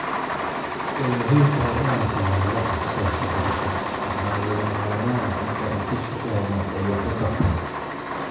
"Way muhiim tahay inaan sameyno wax ku saabsan arrintan, waxaana lagama maarmaan ah in saraakiisha ku habboon ay wax ka qabtaan."